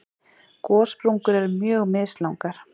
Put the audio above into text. Gossprungur eru mjög mislangar.